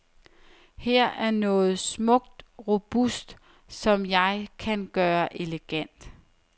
Her er noget smukt robust, som jeg kan gøre elegant.